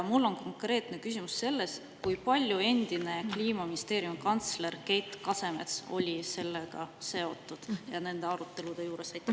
Mul on konkreetne küsimus: kui palju endine Kliimaministeeriumi kantsler Keit Kasemets oli sellega seotud ja nende arutelude juures?